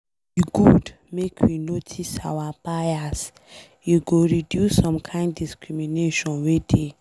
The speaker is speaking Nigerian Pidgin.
E good make we notice our bias, e go reduce some kind discrimination wey dey.